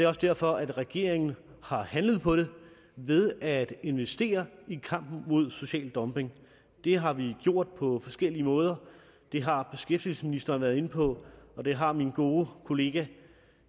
også derfor at regeringen har handlet på det ved at investere i kampen mod social dumping det har vi gjort på forskellige måder det har beskæftigelsesministeren været inde på og det har min gode kollega